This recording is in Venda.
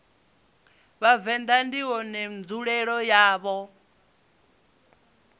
vhavenḓa ndi une nzulele yawo